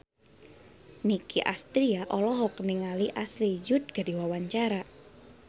Nicky Astria olohok ningali Ashley Judd keur diwawancara